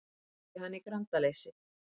sagði hann í grandaleysi.